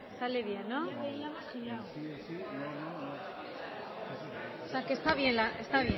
sale bien sale bien no osea que esta bien la esta